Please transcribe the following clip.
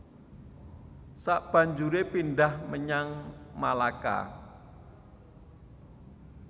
Sabanjuré pindhah menyang Malaka